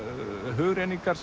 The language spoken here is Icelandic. hugrenningar